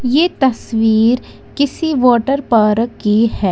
यह तस्वीर किसी वाटर पार्क की है।